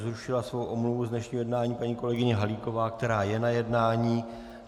Zrušila svou omluvu z dnešního jednání paní kolegyně Halíková, která je na jednání.